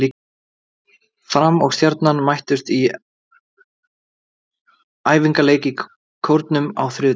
Fram og Stjarnan mættust í æfingaleik í Kórnum á þriðjudaginn.